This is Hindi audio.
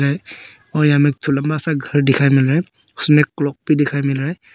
और यहां में एक ठो लंबा सा घर दिखाई मिल रहा है उसमें एक क्लॉक भी दिखाई मिल रहा है।